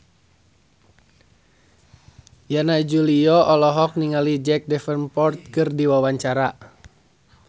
Yana Julio olohok ningali Jack Davenport keur diwawancara